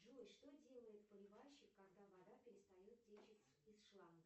джой что делает поливальщик когда вода перестает течь из шланга